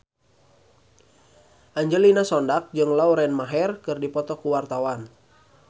Angelina Sondakh jeung Lauren Maher keur dipoto ku wartawan